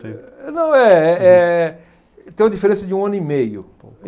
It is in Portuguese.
Não é é tem uma diferença de um ano e meio.